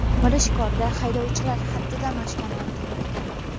Mirishkorda haydovchilar haddidan oshgani aytilmoqda.